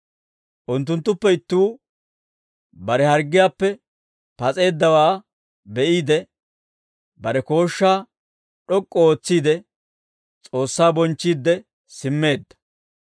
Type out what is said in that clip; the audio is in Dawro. Unttunttuppe ittuu bare harggiyaappe pas'eeddawaa be'iide, bare kooshshaa d'ok'k'u ootsiide, S'oossaa bonchchiidde simmeedda.